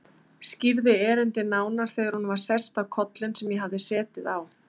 Skýrði erindið nánar þegar hún var sest á kollinn sem ég hafði setið á.